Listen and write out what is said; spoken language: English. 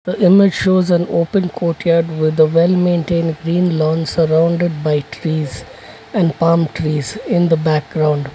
the image shows an open courtyard with a well maintained been lawn surrounded by trees and palm trees in the background.